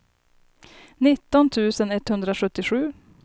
nitton tusen etthundrasjuttiosju